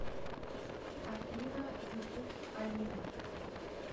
афина ютуб алина